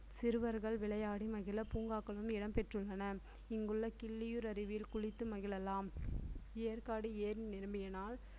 சிறுவர்கள் விளையாடி மகிழ பூங்காக்களும் இடம் பெற்றுள்ளன இங்குள்ள கிள்ளியூர் அருவியில் குளித்து மகிழலாம் ஏற்காடு ஏரி நிரம்பினால்